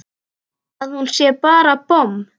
Að hún sé bara bomm!